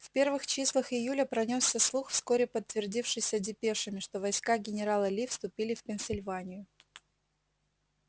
в первых числах июля пронёсся слух вскоре подтвердившийся депешами что войска генерала ли вступили в пенсильванию